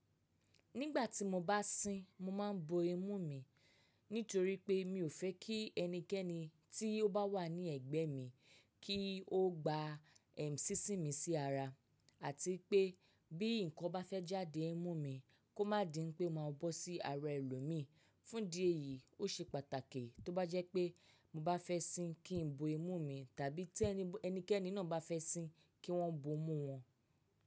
Nígbà tí mo bá sín, mo máa ń bo imú mi nítorí pé mi ò fẹ́ kí ẹnikẹ́ni tí ó bá wà ní ẹ̀gbẹ́ mi kí ó gba sínsìn mi sí ara àti pé bí nǹkan bá fẹ́ jáde n imú mi kó má di n pé máa bọ́ sí ara ẹlòmíì. Fún di ẹ yìí, ó ṣe pàtàkì tó bá jẹ́ pé mo bá fẹ́ sín kí n bo imú mi tàbí tí ẹnikẹ́ni náà bá fẹ́ sín kí wọ́n bo imú wọn.